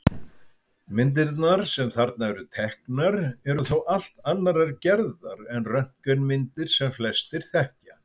Myndirnar sem þarna eru teknar eru þó allt annarrar gerðar en röntgenmyndir sem flestir þekkja.